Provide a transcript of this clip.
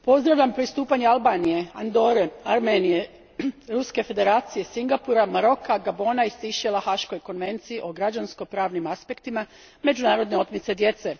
Gospođo predsjednice, pozdravljam pristupanje Albanije, Andore, Armenije, Ruske Federacije, Singapura, Maroka, Gabona i Sejšela Haškoj konvenciji o građansko pravnim aspektima međunarodne otmice djece.